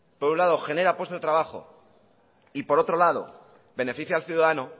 por un lado genera puestos de trabajo y por otro lado beneficia al ciudadano